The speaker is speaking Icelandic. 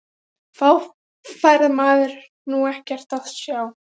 Þá fær maður nú ekkert að sjá!!